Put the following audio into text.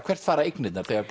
hvert fara eignirnar þegar